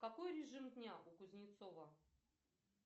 какой режим дня у кузнецова